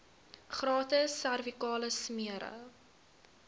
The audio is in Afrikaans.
gratis servikale smere